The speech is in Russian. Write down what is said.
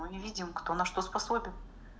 мы не видим кто на что способен